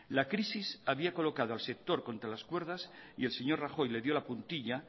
la crisis había colocado al sector contra las cuerdas y el señor rajoy le dio la puntilla